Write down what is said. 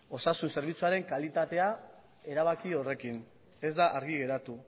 osasun zerbitzuaren kalitatea erabaki horrekin ez da argi geratu